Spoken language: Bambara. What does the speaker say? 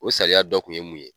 O sariya dɔ kun ye mun ye ?